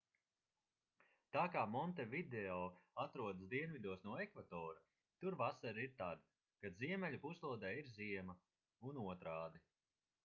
tā kā montevideo atrodas dienvidos no ekvatora tur vasara ir tad kad ziemeļu puslodē ir ziema un otrādi